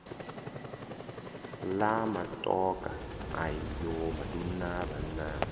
la matokha ayo maduna vhanna